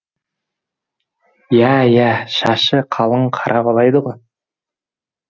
ия ия шашы қалың қара бала еді ғой